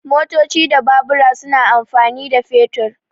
Motoci da Babura suna amfani da fetur.